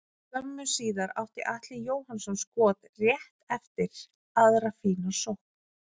Skömmu síðar átti Atli Jóhannsson skot rétt yfir eftir aðra fína sókn.